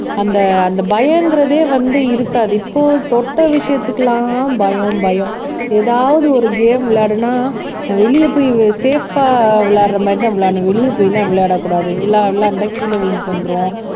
அந்த அந்த பயங்கிறதே வந்து இருக்காது இப்போ தொட்ட விஷயத்துக்கெல்லாம் பயம் பயம் ஏதாவது ஒரு கேம் விளையாடுனா நான் வெளிய போய் சேப்பா ஆஹ் விளையாடுற மாதிரிதான் விளையாடணும் வெளிய போயிலாம் விளையாடக்கூடாது விளையா விளையாண்டா கீழ விழுந்துட்டு வந்துரும்